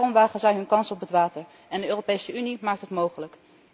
Daarom wagen zij hun kans op het water en de Europese Unie maakt het mogelijk.